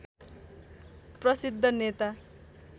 प्रसिद्ध नेता